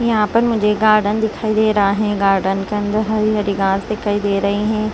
यहां पर मुझे गार्डन दिखाई दे रहा है गार्डन के अंदर हरी हरी गास दिखाई दे रही हैं।